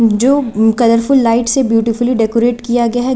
जो colourful light से beautifully decorate किया गया है।